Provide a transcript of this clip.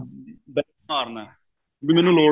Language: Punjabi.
ਵੀ ਮੈਨੂੰ ਲੋੜ ਨਹੀਂ